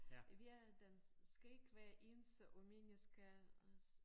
Vi er den skal ikke være ens og mennesker også